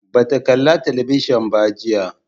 Ba ta kala talabijin ba jiya